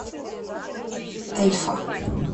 эльфа